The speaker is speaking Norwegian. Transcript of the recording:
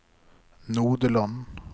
Nodeland